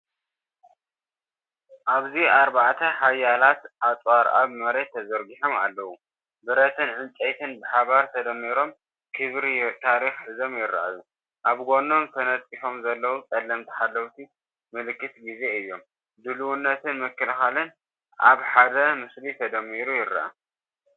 ኣብዚ ኣርባዕተ ሓያላት ኣጽዋር ኣብ መሬት ተዘርጊሖም ኣለው ፤ ብረትን ዕንጨይትን ብሓባር ተደሚሮም ክብሪ ታሪኽ ሒዞም ይረኣዩ። ኣብ ጎኖም ተነጺፎም ዘለዉ ጸለምቲ ሓለውቲ ምልክት ግዜ እዮም፤ ድልውነትን ምክልኻልን ኣብ ሓደ ምስሊ ተደሚሩ ይረአ።